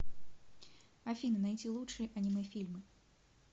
афина найти лучшие аниме фильмы